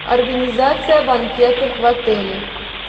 организация банкетов в отеле